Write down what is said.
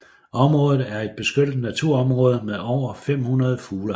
Området er et beskyttet naturområde med over 500 fuglearter